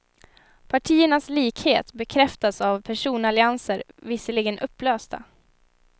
Partiernas likhet bekräftas av personallianser, visserligen upplösta.